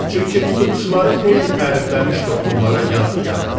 Çünki tutuquşuları xeyli tərifləmişdi onlara yad diyarı.